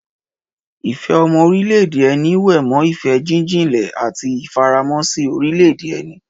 Ìfẹ́ ọmọ orílẹ̀-èdè ẹni wé mọ́ ìfẹ́ jíjinlẹ̀ àti ìfaramọ́ sí orílẹ̀-èdè ẹni.